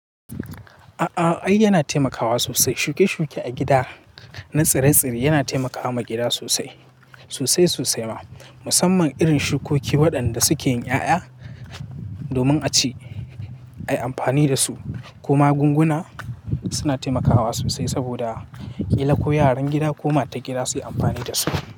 A'a, ai yana taimakawa sosai. Shuke-shuke a gida na tsire-tsire yana taimakawa gida sosai, sosai sosai ma. Musamman irin shukoki waɗanda suke yin ƴaƴa domin a ci, ayi amfani da su. Kuma gunguna suna taimakawa sosai saboda ƙila ko yaran gida ko matan gida su yi amfani da su.